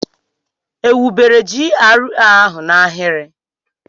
Ewubere GRA ahụ n'ahịrị?